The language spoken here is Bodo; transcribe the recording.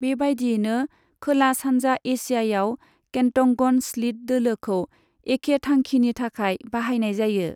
बेबायदियैनो खोला सानजा एसियायाव, केन्टंगन स्लिट दोलोखौ एखे थांखिनि थाखाय बाहायनाय जायो।